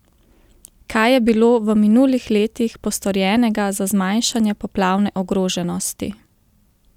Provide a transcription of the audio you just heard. Kaj je bilo v minulih letih postorjenega za zmanjšanje poplavne ogroženosti?